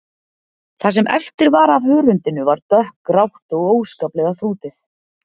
Það sem eftir var af hörundinu var dökkgrátt og óskaplega þrútið.